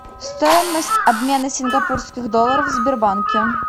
стоимость обмена сингапурских долларов в сбербанке